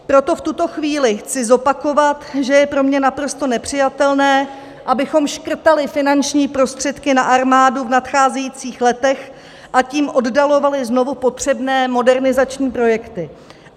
Proto v tuto chvíli chci zopakovat, že je pro mě naprosto nepřijatelné, abychom škrtali finanční prostředky na armádu v nadcházejících letech, a tím oddalovali znovu potřebné modernizační projekty.